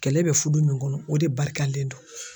Kɛlɛ bɛ fudu min kɔnɔ o de barikalen don.